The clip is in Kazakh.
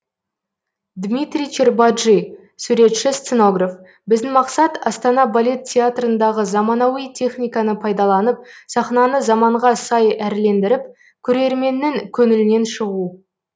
дмитрий чербаджи суретші сценограф біздің мақсат астана балет театрындағы заманауи техниканы пайдаланып сахнаны заманға сай әрлендіріп көрерменнің көңілінен шығу